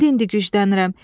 İndi-indi güclənirəm.